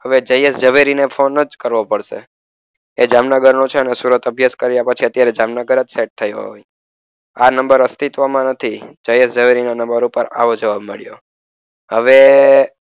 હવે જયેશ ઝવેરી ને જ ફોન કરવો પડશે. એ જામનગરનો છે ને સુરતમાં અભ્યાસ કર્યા પછી અત્યારે જામનગર જ સેટ થયો છે. આ નંબર અસ્તિત્વમાં નથી જયેશ ઝવેરી ના નંબર ઉપર આવો જવાબ મળ્યો. હવે